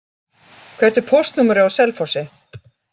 Hvert er póstnúmerið á Selfossi?